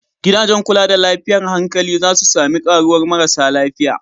Gidajen kula da lafiyar hankali za su sami karuwar marasa lafiya.